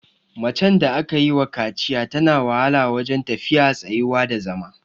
Macen da aka yiwa kaciya tana wahala wajen tafiya, tsayuwa da zama.